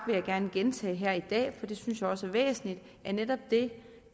vil gerne gentage her i dag for det synes jeg også er væsentligt at netop det